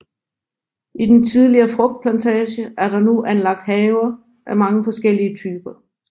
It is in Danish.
I den tidligere frugtplantage er der nu anlagt haver af mange forskellige typer